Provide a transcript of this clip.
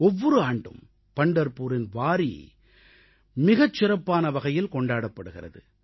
ஒவ்வொரு ஆண்டும் பண்டர்புரின் வாரீ மிகச் சிறப்பான வகையில் கொண்டாடப்படுகிறது